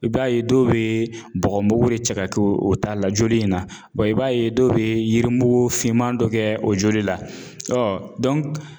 I b'a ye dɔw bɛ bɔgɔmugu de cɛ ka k'o o ta la joli in na i b'a ye dɔw bɛ yirimugu finman dɔ kɛ o joli la